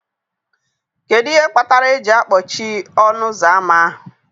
Kedu ihe kpatara eji akpọchie ọnụ ụzọ ámá ahụ